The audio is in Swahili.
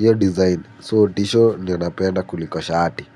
Ya design, so tisho ninapenda kuliko shati.